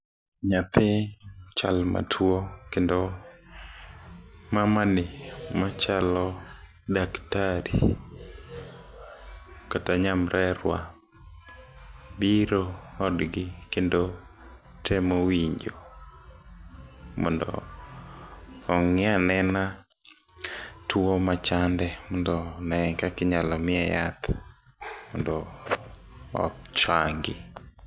Nyathi chal matuo, kendo mamani machalo daktari, kata nyamrerwa biro odgi kendo temo winjo mondo ong'ianena tuo machande mondo ne kaka inyalo miye yath mondo ochangi.